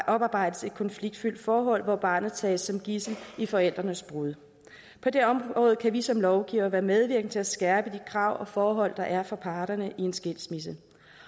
oparbejdes et konfliktfyldt forhold hvor barnet tages som gidsel i forældrenes brud på det område kan vi som lovgivere være medvirkende til at skærpe de krav og forhold der er for parterne i en skilsmisse